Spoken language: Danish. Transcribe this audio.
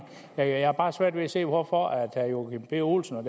jeg har bare svært ved at se hvorfor herre joachim b olsen og